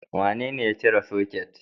Wanene ya cire soket?